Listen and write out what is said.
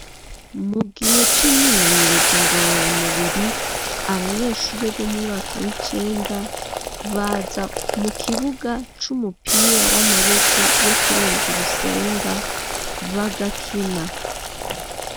Mu gihe c'imyimenyerezo ngorora mubiri, abanyeshuri bo mumwaka w'icenda, baza mu kibuga c'umupira w'amaboko wo kurenza urusenga bagakina.